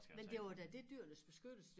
Men det var da det Dyrenes Beskyttelse